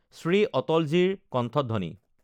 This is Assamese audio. শ্ৰী অটলজীৰ কণ্ঠধ্বনি